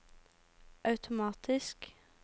automatisk